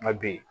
Nka bi